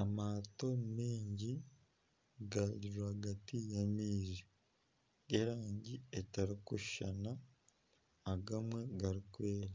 Amaato maingi gari rwagati y'amaizi, g'erangi etarikushushana agamwe garikwera.